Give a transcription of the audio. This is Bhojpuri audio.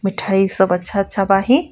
मिठाई सब अच्छा अच्छा बाहिं।